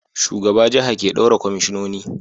Shugaba jaha ke daura kwamishinoni